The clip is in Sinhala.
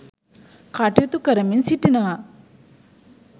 කටයුතු කරමින් සිටිනවා.